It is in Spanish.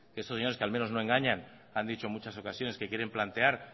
que estos señores al menos no engañan que han dicho en muchas ocasiones que quieren plantear